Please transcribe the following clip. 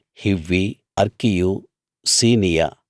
హివ్వీ అర్కీయు సినీయ